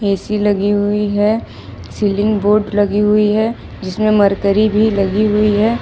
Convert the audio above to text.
AC लगी हुई है सीलिंग बोर्ड लगी हुई है जिसमें मरकरी भी लगी हुई है।